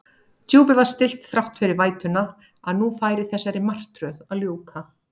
Djúpið var stillt þrátt fyrir vætuna, að nú færi þessari martröð að ljúka.